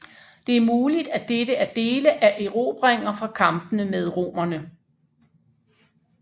Det er muligt at dette er dele af erobringer fra kampene med romerne